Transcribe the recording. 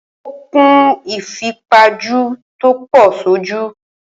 Ó kun ìfipajù tò pọ̀ sójú.